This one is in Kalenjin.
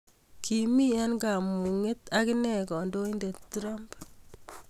Kiming eng kamunget agine kandoindet trump